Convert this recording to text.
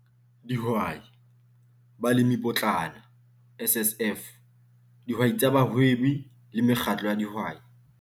Dihwai- Balemipotlana, SSF, Dihwai tsa bahwebi le mekgatlo ya dihwai.